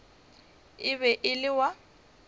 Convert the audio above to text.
e be e le wa